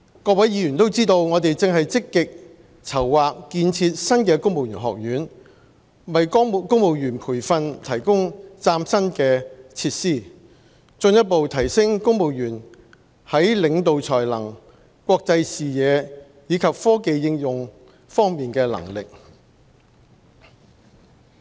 各位議員都知道，我們正積極籌劃建設新的公務員學院，為公務員培訓提供嶄新的設施，進一步提升公務員在領導才能、國際視野及科技應用方面的能力。